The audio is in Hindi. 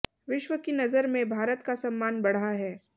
विश्व की नजर में भारत का सम्मान बढ़ा है